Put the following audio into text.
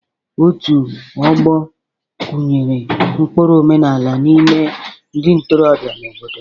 Otu ọgbo kụnyere ụkpụrụ omenala n'ime ndị ntorobịa nọ n'obodo.